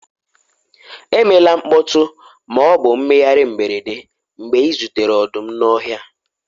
emela mkpọtụ ma ọ bụ mmegharị mberede mgbe ị zutere ọdụm n'ọhịa